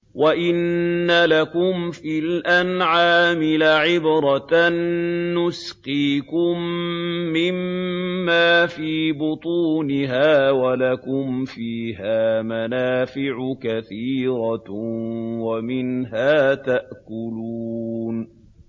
وَإِنَّ لَكُمْ فِي الْأَنْعَامِ لَعِبْرَةً ۖ نُّسْقِيكُم مِّمَّا فِي بُطُونِهَا وَلَكُمْ فِيهَا مَنَافِعُ كَثِيرَةٌ وَمِنْهَا تَأْكُلُونَ